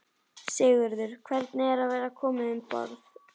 Sigurður: Hvernig er að vera komin um borð?